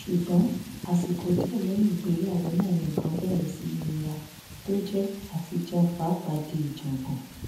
ṣùgbọn àsìkò díẹ lẹyìn ìgbéyàwó náà ni nǹkan bẹrẹ sí í nira tó jẹ àtijẹun pàápàpá di ìjàngbọn